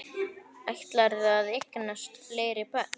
Ætlarðu að eignast fleiri börn?